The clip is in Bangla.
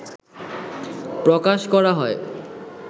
প্রকাশ করা হয়